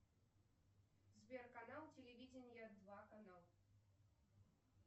сбер канал телевидения два канал